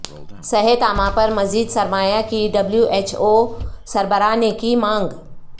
صحت عامہ پر مزید سرمایہ کی ڈبلیو ایچ او سربراہ نے کی مانگ